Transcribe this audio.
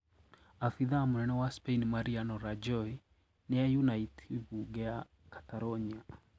Abitha mũnene wa Spain Mariano Rajoy niaunite bunge ya Catalonia